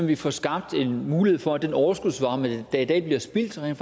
vi får skabt en mulighed for at den overskudsvarme der i dag bliver spildt rent